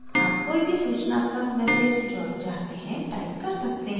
आप कोई भी सूचनात्मक message जो आप चाहते हैं type कर सकते हैं